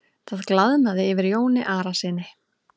Það glaðnaði yfir Jóni Arasyni.